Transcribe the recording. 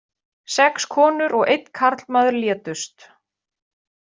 Sex konur og einn karlmaður létust